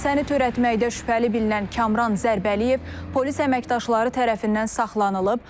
Hadisəni törətməkdə şübhəli bilinən Kamran Zərbəliyev polis əməkdaşları tərəfindən saxlanılıb.